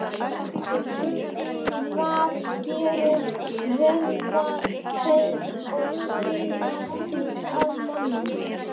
Hvað gerir vöðva, bein og sinar að manni?